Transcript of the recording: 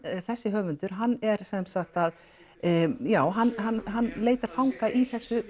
þessi höfundur hann er sem sagt að já hann hann leikar fanga í þessu